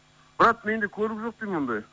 брат менде көлік жоқ деймін ондай